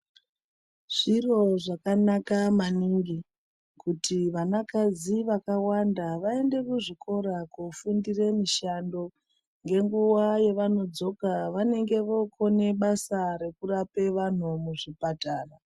Zviro zvakanaka maningi kuti vanakadzi vakawanda vaende kuzvikora kofundire mishando ngenguva yavanodzoka vanenge vokone basa rekurapa vantu muzvipatara.